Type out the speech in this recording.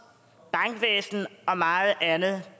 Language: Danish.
bankvæsen og meget andet